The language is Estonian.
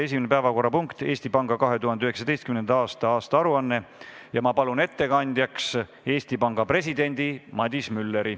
Esimene päevakorrapunkt on Eesti Panga 2019. aasta aruanne ja ma palun ettekandjaks Eesti Panga presidendi Madis Mülleri.